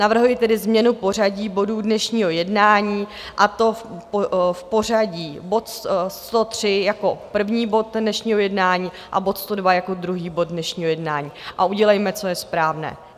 Navrhuji tedy změnu pořadí bodů dnešního jednání, a to v pořadí: bod 103 jako první bod dnešního jednání a bod 102 jako druhý bod dnešního jednání, a udělejme, co je správné.